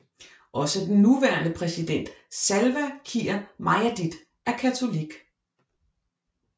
Også den nuværende præsident Salva Kiir Mayardit er katolik